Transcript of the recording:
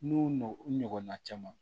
N'u nɔn u ɲɔgɔnna caman